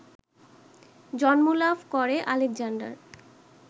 জন্ম লাভ করে আলেকজান্ডার